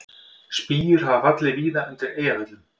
Spýjur hafa fallið víða undir Eyjafjöllum